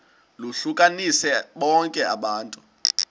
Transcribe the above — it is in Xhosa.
lohlukanise bonke abantu